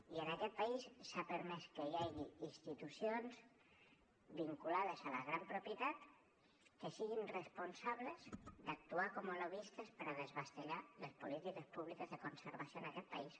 i en aquest país s’ha permès que hi hagi institucions vinculades a la gran propietat que siguin responsables d’actuar com a lobbistes per desballestar les polítiques públiques de conservació en aquest país